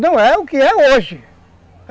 Não é o que é hoje.